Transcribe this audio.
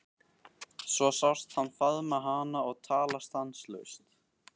Svo sást hann faðma hana og tala stanslaust.